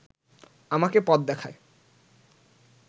আমাকে পথ দেখায়